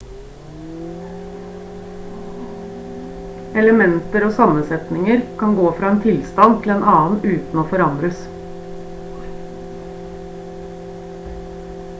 elementer og sammensetninger kan gå fra en tilstand til en annen uten å forandres